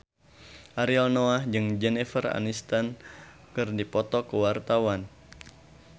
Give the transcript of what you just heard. Ariel Noah jeung Jennifer Aniston keur dipoto ku wartawan